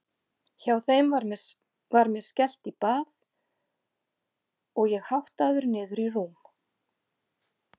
Hjá þeim var mér skellt í bað og ég háttaður niður í rúm.